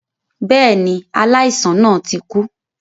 Bẹ́ẹ̀ni, aláìsàn náà ti kú